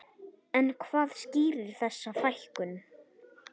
En hvað skýrir þessa fækkun?